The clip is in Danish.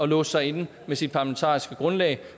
låse sig inde med sit parlamentariske grundlag